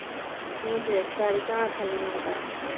Snjófríður, hvað er í dagatalinu mínu í dag?